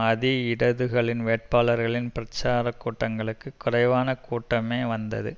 அதி இடதுகளின் வேட்பாளர்களின் பிரச்சார கூட்டங்களுக்கு குறைவான கூட்டமே வந்தது